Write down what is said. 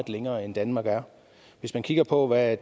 længere end danmark er hvis man kigger på hvad